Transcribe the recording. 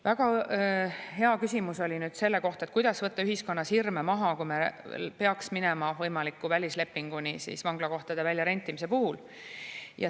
Väga hea küsimus oli selle kohta, kuidas võtta ühiskonnas hirme maha, kui me peaks minema võimaliku välislepinguni vanglakohtade väljarentimise puhul.